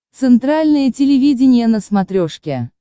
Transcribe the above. центральное телевидение на смотрешке